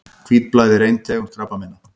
Hvítblæði er ein tegund krabbameina.